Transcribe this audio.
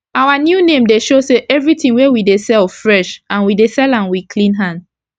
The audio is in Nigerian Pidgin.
our new name dey show say everi tin wey we dey sell fresh and we dey sell am with clean hand